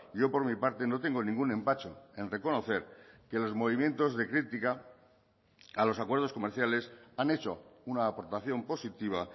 yo por mi parte no tengo ningún empacho en reconocer que los movimientos de crítica a los acuerdos comerciales han hecho una aportación positiva